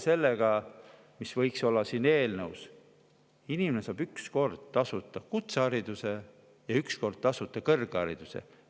Siin eelnõus võiks olla see, et inimene saab üks kord tasuta kutsehariduse ja üks kord tasuta kõrghariduse.